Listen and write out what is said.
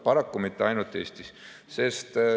Paraku mitte ainult Eestis.